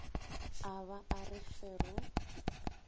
a ba a re fero